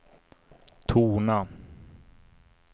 tona